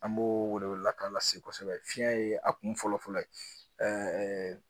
An m'o wele wele lakan lase kosɛbɛ fiyɛn ye a kun fɔlɔ fɔlɔ ye